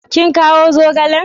Kin kawo zogalen?